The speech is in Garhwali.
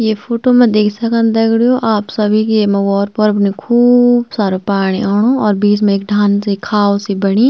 ये फोटो मा देख सकन दगडियों आप सभी की येमा वोर पोर बठीं खूब सारो पाणी औणु और बीच में एक ढांग सी खाल सी बणीं।